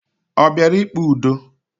O bịara ikpe ụdọ?